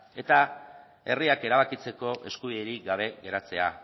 eta herriak erabakitzeko eskubiderik gabe geratzea